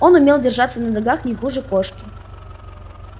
он умел держаться на ногах не хуже кошки